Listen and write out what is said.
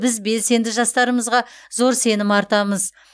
біз белсенді жастарымызға зор сенім артамыз